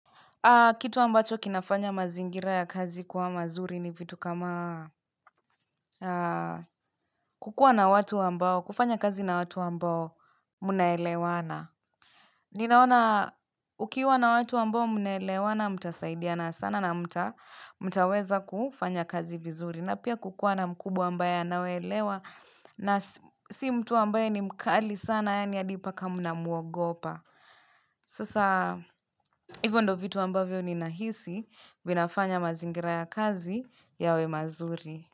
Kitu ambacho kinafanya mazingira ya kazi kuwa mazuri ni vitu kama kukua na watu ambao, kufanya kazi na watu ambao mnaelewana. Ninaona ukiwa na watu ambao mnaelewana mtasaidiana sana na mtaweza kufanya kazi vizuri. Na pia kukua na mkubwa ambayo anawaelewa na si mtu ambayo ni mkali sana ya ni adipaka mna muogopa. Sasa hivyo ndo vitu ambavyo ni nahisi vinafanya mazingira ya kazi yawe mazuri.